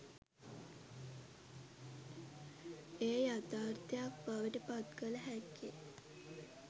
එය යථාර්තයක් බවට පත්කළ හැක්කේ